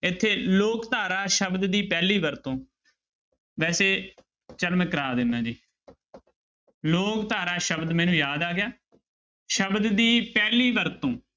ਇੱਥੇ ਲੋਕ ਧਾਰਾ ਸ਼ਬਦ ਦੀ ਪਹਿਲੀ ਵਰਤੋਂ ਵੈਸੇ ਚੱਲ ਮੈਂ ਕਰਵਾ ਦਿਨਾ ਜੀ ਲੋਕ ਧਾਰਾ ਸ਼ਬਦ ਮੈਨੂੰ ਯਾਦ ਆ ਗਿਆ, ਸ਼ਬਦ ਦੀ ਪਹਿਲੀ ਵਰਤੋਂ